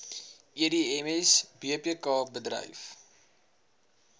edms bpk bedryf